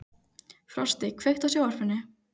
Frosti, kveiktu á sjónvarpinu.